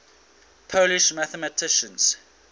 polish mathematicians